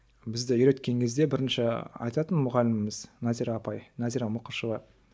бізді үйреткен кезде бірінші айтатын мұғаліміміз назира апай назира мұқышева